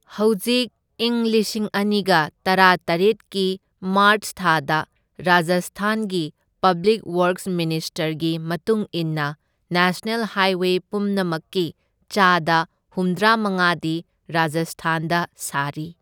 ꯍꯧꯖꯤꯛ ꯏꯪ ꯂꯤꯁꯤꯡ ꯑꯅꯤꯒ ꯇꯔꯥꯇꯔꯦꯠꯀꯤ ꯃꯥꯔꯆ ꯊꯥꯗ ꯔꯥꯖꯁꯊꯥꯟꯒꯤ ꯄꯕ꯭ꯂꯤꯛ ꯋꯔꯛꯁ ꯃꯤꯅꯤꯁꯇꯔꯒꯤ ꯃꯇꯨꯡ ꯏꯟꯅ ꯅꯦꯁꯅꯦꯜ ꯍꯥꯏꯋꯦ ꯄꯨꯝꯅꯃꯛꯀꯤ ꯆꯥꯗ ꯍꯨꯝꯗ꯭ꯔꯥꯃꯉꯥꯗꯤ ꯔꯥꯖꯁꯊꯥꯟꯗ ꯁꯥꯔꯤ꯫